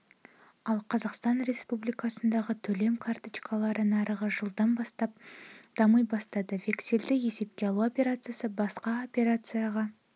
ал қазақстан республикасындағы төлем карточкалары нарығы жылдан бастап дами бастады вексельді есепке алу операциясы басқа операцияға